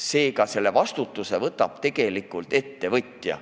Seega, selle vastutuse võtab tegelikult ettevõtja.